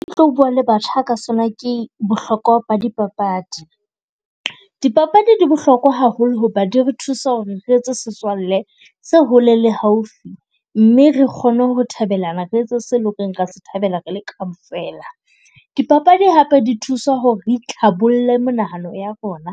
E tlo bua le batjha ka sona, ke bohlokwa ba dipapadi. Dipapadi di bohlokwa haholo ho ba di re thusa ho re re etse setswalle se hole le haufi. Mme re kgone ho thabela re etse se leng ho re re a sethabela re le kaofela. Dipapadi hape di thusa ho re re itlhabolle menahano ya rona,